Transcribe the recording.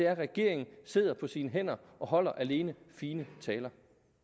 regeringen sidder på sine hænder og holder alene fine taler